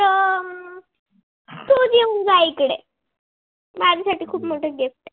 येऊन जा इकडे माझ्यासाठी खूप मो gift